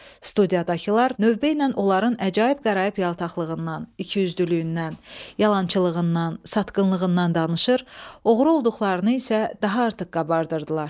Studiydakılar növbə ilə onların əcaib qəraib yaltaqlığından, ikiyüzlülüyündən, yalançılığından, satqınlığından danışır, oğru olduqlarını isə daha artıq qabardırdılar.